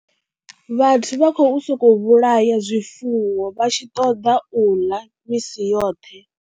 Vhathu vha khou sokou vhulaya zwifuwo vha tshi ṱoḓa u ḽa misi yoṱhe.